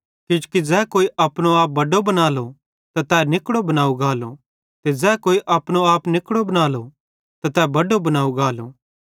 किजोकि ज़ै कोई अपनो आप बड्डो बनालो त तै निकड़ो बनाव गालो ते ज़ै कोई अपनो आप निकड़ो बनालो त तै बड्डो बनाव गालो